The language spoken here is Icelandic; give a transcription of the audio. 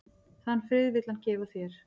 Þann frið vill hann gefa þér.